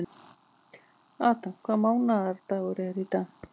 Adam, hvaða mánaðardagur er í dag?